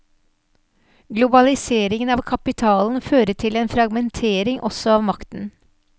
Globaliseringen av kapitalen fører til en fragmentering også av makten.